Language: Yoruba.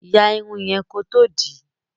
Ya Irun yen kò tó dì í